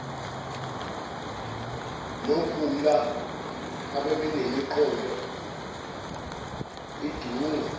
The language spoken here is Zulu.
nophumla ababemiqondo idungwe